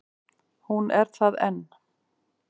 Hún er það enn.